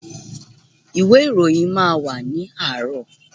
Ìwé ìròyìn máa wà ní àárọ̀.